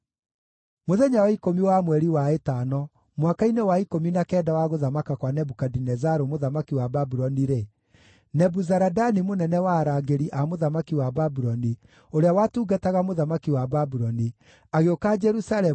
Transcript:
Mũthenya wa ikũmi wa mweri wa ĩtano, mwaka-inĩ wa ikũmi na kenda wa gũthamaka kwa Nebukadinezaru mũthamaki wa Babuloni-rĩ, Nebuzaradani mũnene wa arangĩri a mũthamaki wa Babuloni, ũrĩa watungataga mũthamaki wa Babuloni, agĩũka Jerusalemu,